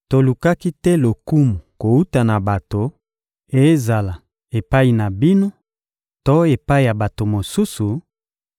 Tolukaki te lokumu kowuta na bato, ezala epai na bino to epai ya bato mosusu,